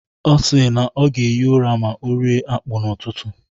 Ọ si na ọ ga-ehi ụra ma ọ rie akpu n'ụtụtụ.